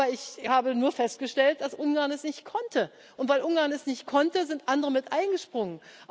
Ich habe nur festgestellt, dass Ungarn es nicht konnte, und weil Ungarn es nicht konnte, sind andere mit eingesprungen.